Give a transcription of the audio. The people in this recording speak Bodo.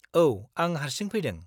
औ, आं हारसिं फैदों।